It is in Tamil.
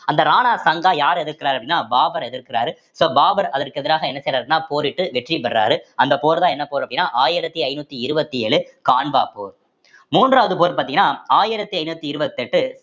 அந்த ராணா சங்கா யார் எதிர்க்கிறார் அப்படின்னா பாபர் எதிர்க்கிறாரு so பாபர் அதற்கு எதிராக என்ன செய்றாருன்னா போரிட்டு வெற்றியை பெர்றாரு அந்த போர்தான் என்ன போர் அப்படின்னா ஆயிரத்தி ஐந்நூத்தி இருபத்தி ஏழு கான்வா போர் மூன்றாவது போர் பார்த்தீங்கன்னா ஆயிரத்தி ஐந்நூத்தி இருவத்தி எட்டு